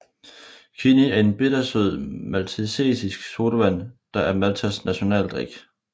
Kinnie er en bittersød maltesisk sodavand der er Maltas nationaldrik